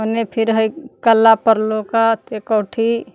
एने फिर है कला पर लौकत एक औठि।